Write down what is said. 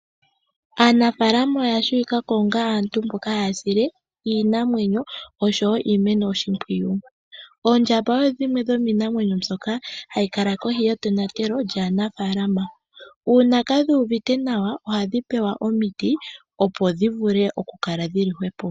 Aanafalama oya shiwikako onga aantu mboka haya sile iinamwenyo osho woo iimeno oshimpwiyu. Oondjamba odho dhimwe dhomiinamwenyo mbyoka hayi kala kohi yetonatelo lyanafaalama uuna kadhi uvite nawa ohadhi pewa omiti opo dhivule okukala dhili hwepo.